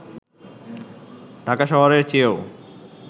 ঢাকা শহরের চেয়েও